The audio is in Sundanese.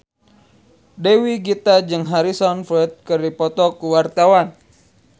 Dewi Gita jeung Harrison Ford keur dipoto ku wartawan